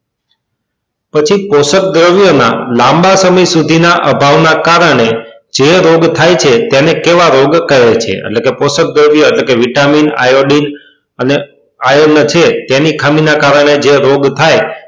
પછી કોષ્ક દ્રવ્ય ના લાંબા સમય સુધી ના અભાવ ના કારણે જે રોગ થાય છે તેને કેવા રોગ કહે છે એટલે કે કોશક દ્રવ્યો એટલે કે vitamin iodine અને iron છે